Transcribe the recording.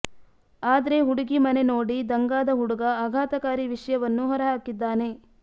ಆದ್ರೆ ಹುಡುಗಿ ಮನೆ ನೋಡಿ ದಂಗಾದ ಹುಡುಗ ಆಘಾತಕಾರಿ ವಿಷ್ಯವನ್ನು ಹೊರ ಹಾಕಿದ್ದಾನೆ